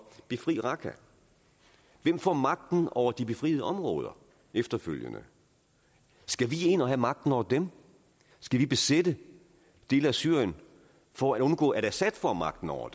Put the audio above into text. befri raqqa hvem får magten over de befriede områder efterfølgende skal vi ind og have magten over dem skal vi besætte dele af syrien for at undgå at assad får magten over